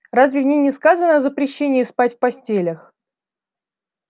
разве в ней не сказано о запрещении спать в постелях